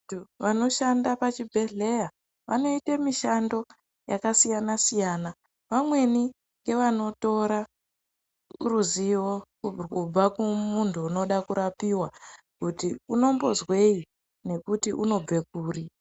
Vanoshanda pachibhedhleya vanoite mishando yakasiyana siyana, vamweni ngevanotora ruzivo urwu kubva kumuntu unoda kurapiwa kuti unombozwei nekuti unobve kuri.